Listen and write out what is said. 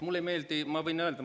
Mulle see ei meeldi, ma võin öelda.